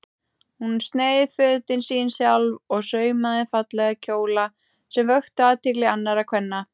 Hún sneið fötin sín sjálf og saumaði fallega kjóla sem vöktu athygli annarra kvenna.